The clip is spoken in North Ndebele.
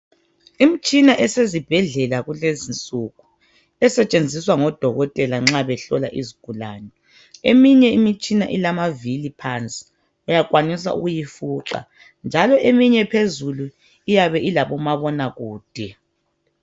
Imtshina esezibhedlela kulezinsuku esetshenziswa ngodokotela nxa behlola izigulane, eminye imitshina ilamavili phansi uyakwanisa ukuyifuqa, njalo eminye phezulu iyabe ilabomabona kude.